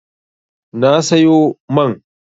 Na sayo man.